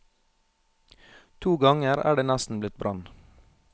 To ganger er det nesten blitt brann.